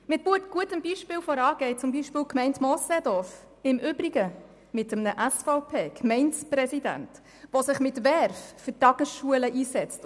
Mit gutem Beispiel voran geht die Gemeinde Moosseedorf, im Übrigen mit einem SVP-Gemeindepräsident, der sich mit Verve für die Tagesschulen einsetzt.